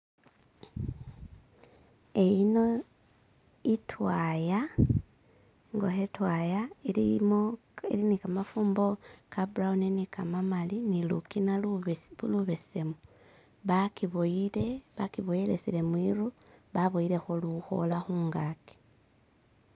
ino itwaya ingoho itwaya ilimo ili nikamafumbo kaburawuno nikamamali nilukina lubesemu bakiboyelesele mwiru baboyeleho luhola hungaki